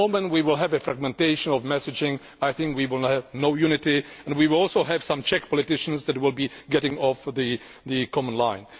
The moment we have a fragmentation of messaging, I think we will have no unity, and we will also have some Czech politicians that will be moving away from the common line.